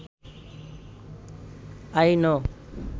I know